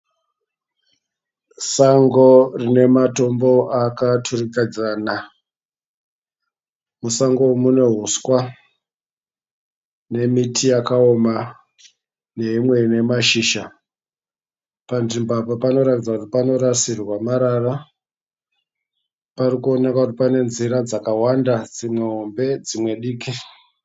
Sango rine matombo akaturikidzana. Musango umu mune huswa nemiti yakaoma neimwe ine mashizha. Panzvimbo apa panoratidza kuti panorasirwa marara. Parikuoneka kuti pane nzira dzakawanda dzimwe hombe dzimwe diki.